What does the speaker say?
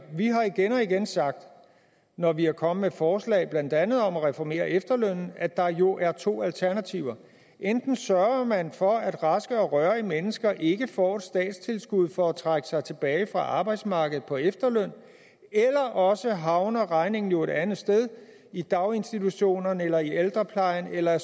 vi har igen og igen sagt når vi er kommet med forslag blandt andet om at reformere efterlønnen at der jo er to alternativer enten sørger man for at raske og rørige mennesker ikke får et statstilskud for at trække sig tilbage fra arbejdsmarkedet på efterløn eller også havner regningen jo et andet sted i daginstitutionerne eller i ældreplejen eller